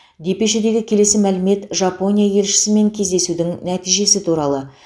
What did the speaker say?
депешедегі келесі мәлімет жапония елшісімен кездесудің нәтижесі туралы